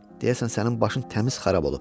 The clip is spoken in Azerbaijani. Deyəsən sənin başın təmiz xarab olub.